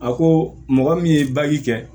A ko mɔgɔ min ye kɛ